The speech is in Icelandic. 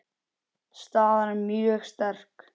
Staðan er mjög sterk.